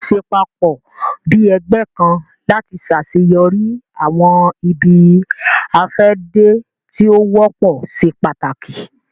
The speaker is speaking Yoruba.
Ṣiṣẹ papọ bi ẹgbẹ kan lati ṣaṣeyọri awọn ibi-afẹde ti o wọpọ ṣe pàtàkì